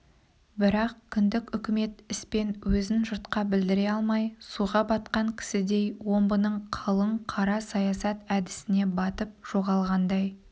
бірақ кіндік үкімет іспен өзін жұртқа білдіре алмай суға батқан кісідей омбының қалың қара саясат әдісіне батып жоғалғандай